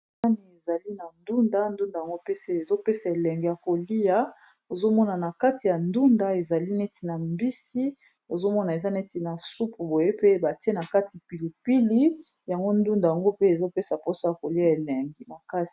Sani ezali na ndunda ndunda yango mpese ezo pesa elengi ya koliya ozomona na kati ya ndunda ezali neti na mbisi ozomona eza neti na supu boye pe batie na kati pilipili yango ndunda yango pe ezopesa mposo ya kolia elenge makasi.